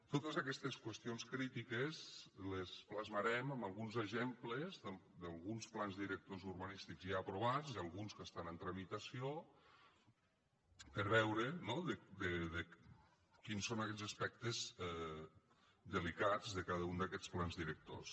totes aquestes qüestions crítiques les plasmarem en alguns exemples d’alguns plans directors urbanístics ja aprovats i alguns que estan en tramitació per veure no quins són aquells aspectes delicats de cada un d’aquests plans directors